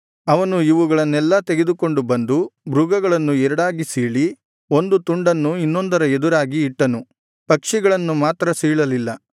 ಅವನು ಇವುಗಳನ್ನೆಲ್ಲಾ ತೆಗೆದುಕೊಂಡು ಬಂದು ಮೃಗಗಳನ್ನು ಎರಡಾಗಿ ಸೀಳಿ ಒಂದು ತುಂಡನ್ನು ಇನ್ನೊಂದರ ಎದುರಾಗಿ ಇಟ್ಟನು ಪಕ್ಷಿಗಳನ್ನು ಮಾತ್ರ ಸೀಳಲಿಲ್ಲ